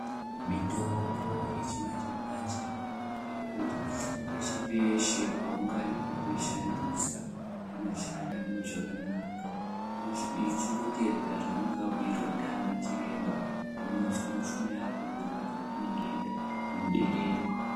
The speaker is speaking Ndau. Mitombo yechimanje-manje yakanakire kuti, peshe-peshe paungaida kuishandisa inoshanda mune zvakanaka, uchingoteedzera zvaunenge wabhuirwa ndianachiremba, Unozwa mishuna yako kurwadza kweinenge yeiichiita, kunoderera.